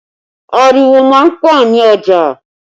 Ariwo má ń pọ̀ ní ọjà